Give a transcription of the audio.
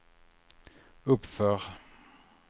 uppför